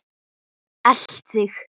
Elt þig?